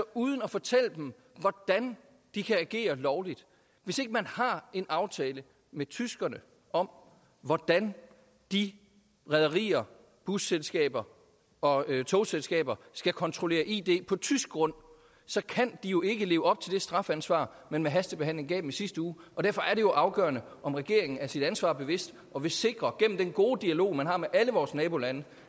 uden at fortælle dem hvordan de kan agere lovligt hvis ikke man har en aftale med tyskerne om hvordan de rederier busselskaber og togselskaber skal kontrollere id på tysk grund så kan de jo ikke leve op til det strafansvar man med hastebehandlingen i sidste uge derfor er det afgørende om regeringen er sig sit ansvar bevidst og vil sikre gennem den gode dialog man har med alle vores nabolande